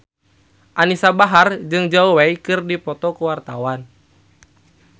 Anisa Bahar jeung Zhao Wei keur dipoto ku wartawan